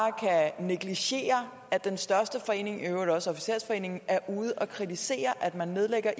kan negligere at den største forening og i øvrigt også officersforeningen er ude at kritisere at man nedlægger